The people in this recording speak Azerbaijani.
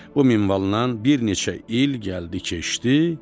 Bu minvalnan bir neçə il gəldi-keçdi.